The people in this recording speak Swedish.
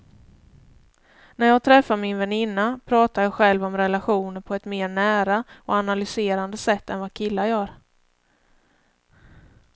När jag träffar min väninna pratar jag själv om relationer på ett mer nära och analyserande sätt än vad killar gör.